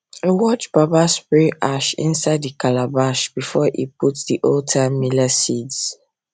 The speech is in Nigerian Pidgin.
i watch baba spray ash inside the calabash before he put the oldtime millet seeds